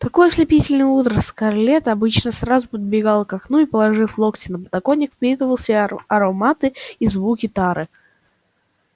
в такое ослепительное утро скарлетт обычно сразу подбегала к окну и положив локти на подоконник впитывала в себя ароматы и звуки тары